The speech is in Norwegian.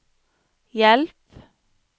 hjelp